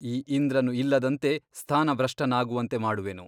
ಈ ಇಂದ್ರನು ಇಲ್ಲದಂತೆ ಸ್ಥಾನಭ್ರಷ್ಟನಾಗುವಂತೆ ಮಾಡುವೆನು.